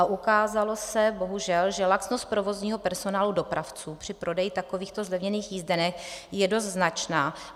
A ukázalo se, bohužel, že laxnost provozního personálu dopravců při prodeji takových zlevněných jízdenek je dost značná.